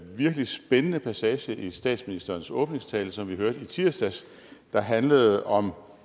virkelig spændende passage i statsministerens åbningstale som vi hørte i tirsdags der handlede om